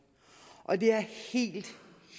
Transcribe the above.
og det er helt